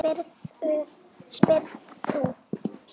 spyrð þú.